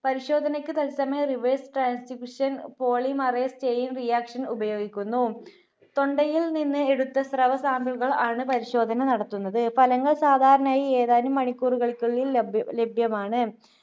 പരിശോധനക്ക് തത്സമയം Reverse transcription polymerase chain reaction ഉപയോഗിക്കുന്നു. തൊണ്ടയിൽ നിന്ന് എടുത്ത ശ്രവ sample കൾ ആണ് പരിശോധന നടത്തുന്നത്. ഫലങ്ങൾ സാധാരണയായി ഏതാനും മണിക്കൂറുകൾക്കുള്ളിൽ ലഭ്യ~ലഭ്യമാണ്.